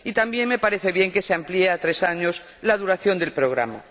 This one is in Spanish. Asimismo me parece bien que se amplíe a tres años la duración del programa.